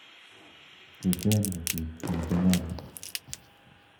Tuten biik eng konyon